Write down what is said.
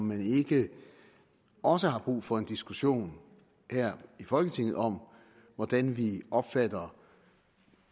man ikke også har brug for en diskussion her i folketinget om hvordan vi opfatter